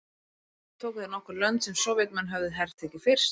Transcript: Þá tóku þeir nokkur lönd sem Sovétmenn höfðu hertekið fyrst.